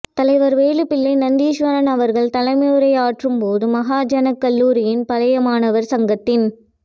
தலைவர் வேலுப்பிள்ளை நந்தீஸ்வரன் அவர்கள் தலைமையுரை யாற்றும்போது மகாஜனாக் கல்லூரியின் பழையமாணவர் சங்கத்தின்